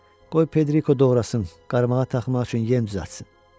Qoy Pedriko doğrasın, qarmağa taxmaq üçün yem düzəltsin.